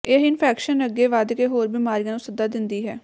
ਇਹ ਇੰਫੈਕਸ਼ਨ ਅੱਗੇ ਵੱਧ ਕੇ ਹੋਰ ਬਿਮਾਰੀਆਂ ਨੂੰ ਸੱਦਾ ਦਿੰਦੀ ਹੈ